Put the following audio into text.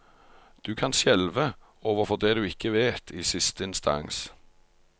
Du kan skjelve overfor det du ikke vet, i siste instans.